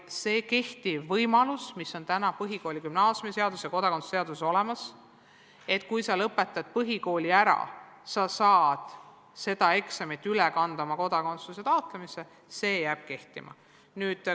Võimalus, mis on praegu põhikooli- ja gümnaasiumiseaduses ja kodakondsuse seaduses olemas – kui sa lõpetad põhikooli ära, siis saad selle eksami tulemused üle kanda kodakondsuse taotlemise protsessi –, jääb kehtima.